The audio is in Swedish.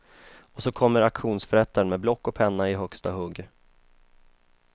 Och så kommer auktionsförrättaren med block och penna i högsta hugg.